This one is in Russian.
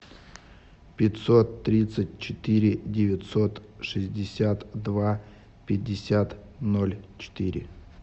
пятьсот тридцать четыре девятьсот шестьдесят два пятьдесят ноль четыре